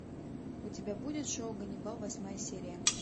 у тебя будет шоу ганнибал восьмая серия